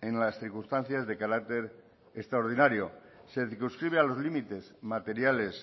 en las circunstancias de carácter extraordinario se circunscribe a los límites materiales